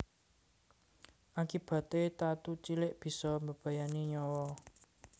Akibaté tatu cilik bisa mbebayani nyawa